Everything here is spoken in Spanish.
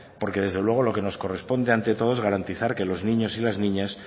porque desde luego lo que nos corresponde ante todo es garantizar que los niños y las niñas